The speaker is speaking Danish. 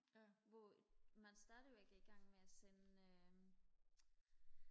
hvor man stadigvæk er i gang med og sende øh